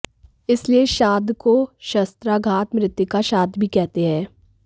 इसलिए इस श्राद्ध को शस्त्राघात मृतका श्राद्ध भी कहते हैं